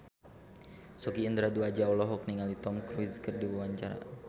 Sogi Indra Duaja olohok ningali Tom Cruise keur diwawancara